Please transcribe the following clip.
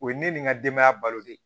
O ye ne ni n ka denbaya balo de ye